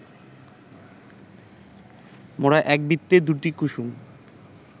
মোরা এক বৃত্তে দুটি কুসুম